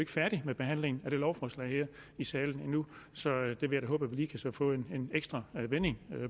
færdige med behandlingen af lovforslaget her i salen så jeg vil da håbe at vi lige kan få en ekstra vending